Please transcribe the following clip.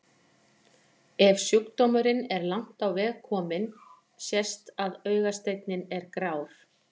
Ef sjúkdómurinn er langt á veg kominn sést að augasteinninn er grár.